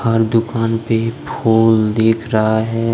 हर दुकान पे फूल दिख रहा है।